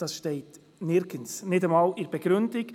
Das steht nirgendwo, nicht einmal in der Begründung!